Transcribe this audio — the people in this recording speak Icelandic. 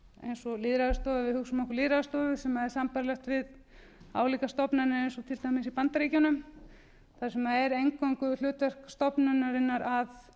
eins og lýðræðisstofa eða við hugsum okkur lýðræðisstofu sem er sambærilegt við álíka stofnanir eins og til dæmis í bandaríkjunum þar sem það er eingöngu hlutverk stofnunarinnar að